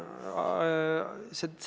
Aitäh!